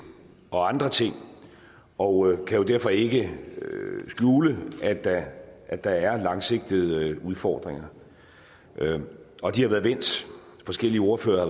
og andre ting og kan jo derfor ikke skjule at der at der er langsigtede udfordringer og de har været vendt forskellige ordførere